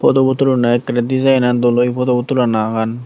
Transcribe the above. photobot tuloney ekkerey dejaainen dol oye photobo tulanagan.